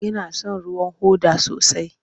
Ina son ruwan hoda sosai.